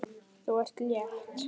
Þú ert létt!